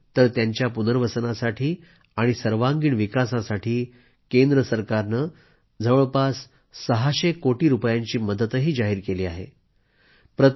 इतकंच नाही तर त्यांच्या पुनर्वसनासाठी आणि सर्वांगीण विकासासाठी केंद्र सरकारने जवळपास 600 कोटी रूपयांची मदतही जाहीर केली आहे